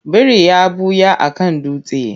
Biri ya ɓuya a kan dutse.